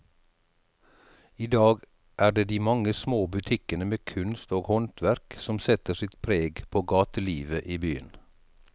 I dag er det de mange små butikkene med kunst og håndverk som setter sitt preg på gatelivet i byen.